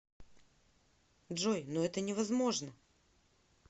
джой но это невозможно